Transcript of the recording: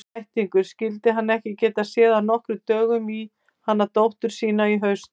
Þvættingur, skyldi hann ekki geta séð af nokkrum dögum í hana dóttur sína í haust.